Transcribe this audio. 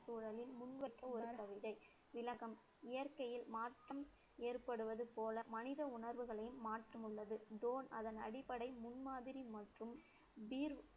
ஒரு கவிதை, விளக்கம், இயற்கையில் மாற்றம் ஏற்படுவது போல, மனித உணர்வுகளையும் மாற்றம் உள்ளது அதன் அடிப்படை முன்மாதிரி மற்றும்